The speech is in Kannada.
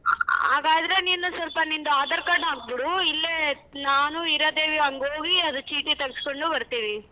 ಆ ಹಾಗಾದ್ರೆ ನೀನು ಸೊಲ್ಪ ನಿಂದು aadhar card ಹಾಕ್ಬಿಡು ಇಲ್ಲೇ ನಾನು ಹೀರಾದೇವಿ ಹಂಗ್ ಹೋಗಿ ಅದ್ ಚೀಟಿ ತಗ್ಸ್ಕೊಂಡು ಬರ್ತೀವಿ.